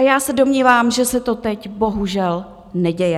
A já se domnívám, že se to teď bohužel neděje.